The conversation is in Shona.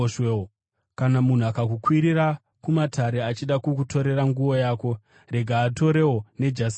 Kana munhu akakukwirira kumatare achida kukutorera nguo yako, rega atorewo nejasi rako.